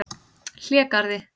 Hlégarði